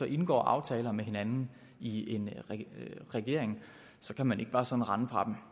indgår aftaler med hinanden i en regering kan man ikke bare sådan rende fra dem